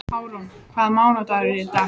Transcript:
Árún, hvaða mánaðardagur er í dag?